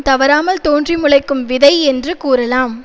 தவறாமல் தோன்றி முளைக்கும் விதை என்று கூறலாம்